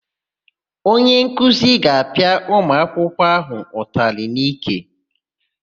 Onyenkuzi ga-apịa ụmụakwụkwọ áhụ̀ ụtalị n'ike.